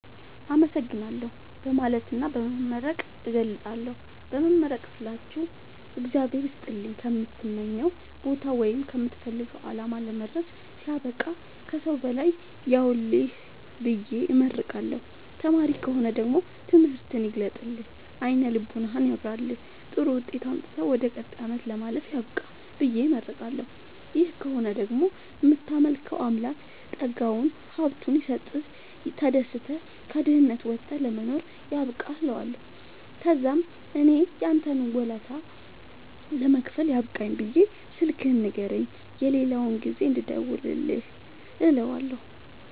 አመሠግናለሁ በማለትና በመመረቅ እገልፃለሁ። በመመረቅ ስላችሁ እግዚአብሄር ይስጥልኝ ከምትመኘዉ ቦታወይም ከምትፈልገዉ አላማ ለመድረስያብቃህ ከሠዉ በላይ ያዉልህብየ እመርቀዋለሁ። ተማሪ ከሆነ ደግሞ ትምህርትህን ይግለጥልህ አይነ ልቦናህን ያብራልህ ጥሩዉጤት አምጥተህ ወደ ቀጣይ አመት ለማለፍ ያብቃህ ብየ እመርቀዋለሁ። ደሀ ከሆነ ደግሞ እምታመልከዉ አምላክ ጠጋዉን ሀብቱይስጥህ ተደስተህ ከድህነት ወተህ ለመኖር ያብቃህእለዋለሁ። ተዛምእኔም ያንተን ወለታ ለመክፈል ያብቃኝ ብየ ስልክህን ንገረኝ የሌላ ጊዜ እንድደዉልልህ እለዋለሁ